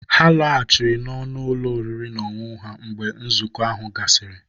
Ha laghachiri n'ọnụ ụlọ oriri na ọṅụṅụ ha mgbe nzukọ ahụ gasịrị.